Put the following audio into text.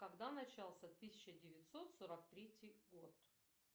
когда начался тысяча девятьсот сорок третий год